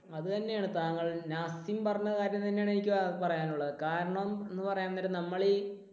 അതു തന്നെയാണ്, താങ്കൾ നാസിൻ പറഞ്ഞ കാര്യം തന്നെയാണ് എനിക്ക് പറയാനുള്ളത്. കാരണം എന്നുപറയാൻ നേരം നമ്മളീ